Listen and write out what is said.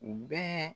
U bɛɛ